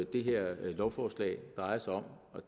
det her lovforslag drejer sig om